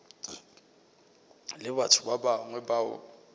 le batho ba bangwe bao